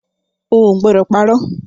Ó gbọ́dọ̀ parọ̀!